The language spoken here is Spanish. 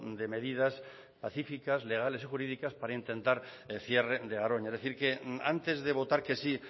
de medidas pacíficas legales o jurídicas para intentar el cierre de garoña es decir que antes de votar que sí